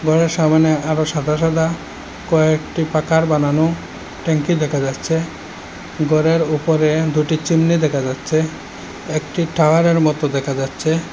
বেড়ার সামনে আরো সাদা সাদা কয়েকটি পাকার বানানো ট্যাঙ্কি দেখা যাচ্ছে ঘরের উপরে চুন্নি দেখা যাচ্ছে একটি টাওয়ারে র মতো দেখা যাচ্ছে।